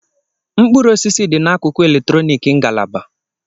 Mkpụrụ osisi dị n'akụkụ eletrọnịkị ngalaba.